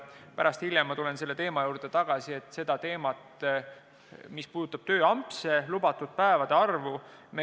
Pärast, hiljem tulen tagasi selle teema juurde, mis puudutab tööampse ja lubatud päevade arvu.